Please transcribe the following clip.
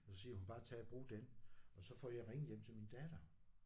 Og så siger hun bare tag og brug den og så får jeg ringet hjem til min datter